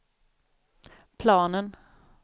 planen